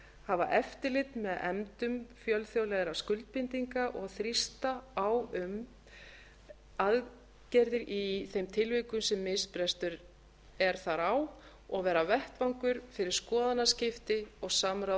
hafa eftirlit með efndum fjölþjóðlegra skuldbindinga og þrýsta á um aðgerðir í þeim tilvikum sem misbrestur er þar á og vera vettvangur fyrir skoðanaskipti og samráð